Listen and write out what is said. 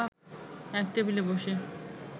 এক টেবিলে বসে